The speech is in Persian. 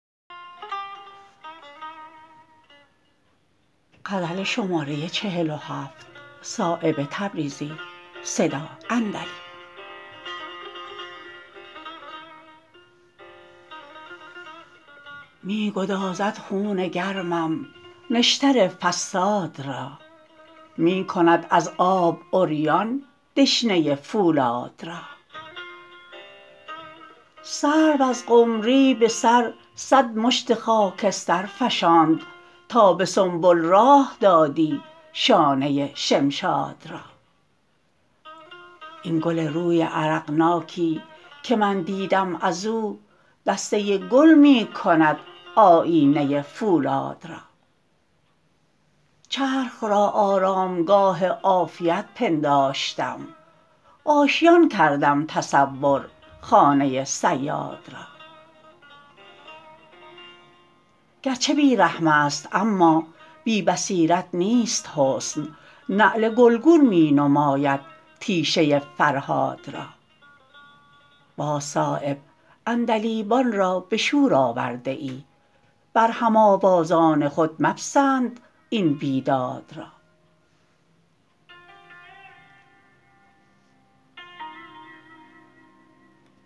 می گدازد خون گرمم نشتر فصاد را می کند از آب عریان دشنه فولاد را سرو از قمری به سر صد مشت خاکستر فشاند تا به سنبل راه دادی شانه شمشاد را این گل روی عرقناکی که من دیدم ازو دسته گل می کند آیینه فولاد را چرخ را آرامگاه عافیت پنداشتم آشیان کردم تصور خانه صیاد را گر چه بی رحم است اما بی بصیرت نیست حسن نعل گلگون می نماید تیشه فرهاد را باز صایب عندلیبان را به شور آورده ای بر هم آوازان خود مپسند این بیداد را